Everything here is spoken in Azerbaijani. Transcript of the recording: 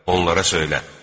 Onlara söylə: